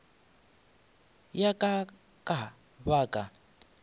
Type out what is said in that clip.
ya ka ka ba ka